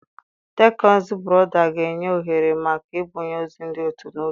Teknụzụ brọdband ga-enye ohere maka ibunye ozi ndị ọzọ n'otu oge.